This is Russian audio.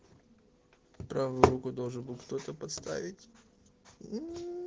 правую руку должен был кто-то поставить уу